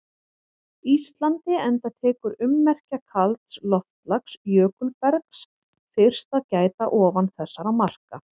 Íslandi enda tekur ummerkja kalds loftslags- jökulbergs- fyrst að gæta ofan þessara marka.